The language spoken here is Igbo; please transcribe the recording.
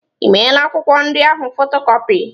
Ị meela akwụkwọ ndị ahụ fotokọpi?